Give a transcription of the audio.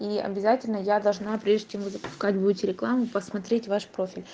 и обязательно я должна прежде чем его запускать будет рекламу посмотреть ваш профиль